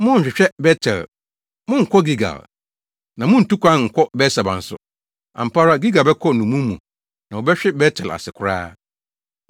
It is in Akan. Monnhwehwɛ Bet-El, monnkɔ Gilgal, na munntu kwan nkɔ Beer-Seba nso. Ampa ara Gilgal bɛkɔ nnommum mu na wɔbɛhwe Bet-El ase koraa.”